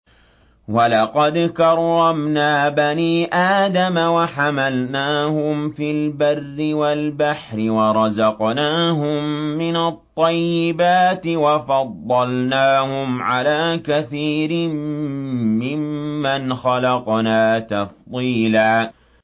۞ وَلَقَدْ كَرَّمْنَا بَنِي آدَمَ وَحَمَلْنَاهُمْ فِي الْبَرِّ وَالْبَحْرِ وَرَزَقْنَاهُم مِّنَ الطَّيِّبَاتِ وَفَضَّلْنَاهُمْ عَلَىٰ كَثِيرٍ مِّمَّنْ خَلَقْنَا تَفْضِيلًا